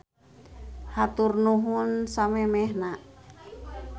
Hatur nuhun samemehna.